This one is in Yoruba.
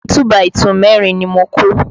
Igi 2 by 2 mẹ́rin ni mo kó